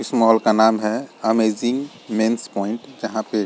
इस मॉल का नाम है अमेजिंग मेंस पॉइंट जहाँ पे --